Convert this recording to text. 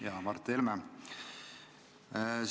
Hea Mart Helme!